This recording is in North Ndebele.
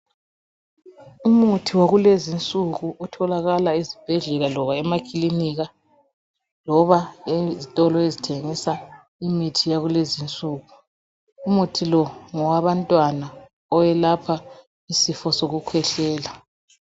Umuthi wakulezi insuku otholakala ezibhedlela loba emakilinika, loba ezitolo ezithengisa imithi yakulezi insuku.. Umuthi lo ngowabantwana. Owelapha isifo sokukhwehlela.